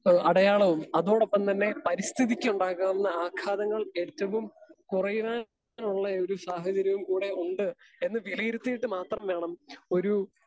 speaker 2 ഏഹ് അടയാളവും അതോടൊപ്പംതന്നെ പരിസ്ഥിതിയ്ക്കുണ്ടാകാവുന്ന ആഘാതങ്ങൾ ഏറ്റവും കുറയുവാനുള്ളയൊരു സാഹചര്യവുംകൂടെ ഉണ്ട് എന്ന് വിലയിരുത്തിയിട്ട് മാത്രംവേണം ഒരു